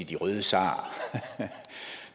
de røde zarer